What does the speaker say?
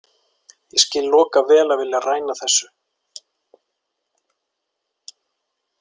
Ég skil Loka vel að vilja ræna þessu.